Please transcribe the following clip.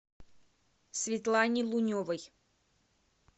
светлане луневой